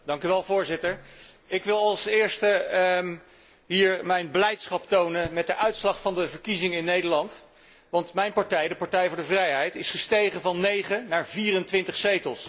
Voorzitter, ik wil als eerste hier mijn blijdschap tonen over de uitslag van de verkiezingen in Nederland, want mijn partij, de Partij voor de Vrijheid, is gestegen van 9 naar 24 zetels.